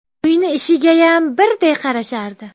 Uyni ishigayam birday qarashardi.